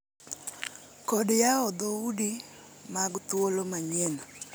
kod yawo dhoudi mag thuolo manyien